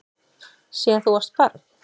Síðan þú varst barn.